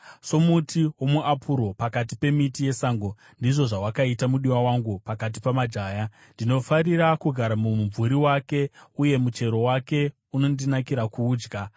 Somuti womuapuro pakati pemiti yesango, ndizvo zvawakaita mudiwa wangu pakati pamajaya. Ndinofarira kugara mumumvuri wake, uye muchero wake unondinakira kuudya.